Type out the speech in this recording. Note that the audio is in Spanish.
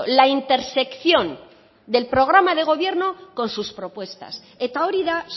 la intersección del programa de gobierno con sus propuestas eta hori da